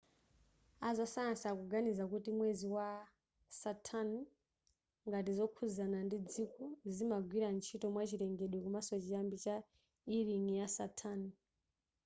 azasayansi akuganiza kuti mwezi wa saturn ngati zokhudzana ndi dziko zimagwira ntchito mwachilengedwe komanso chiyambi cha e ring ya saturn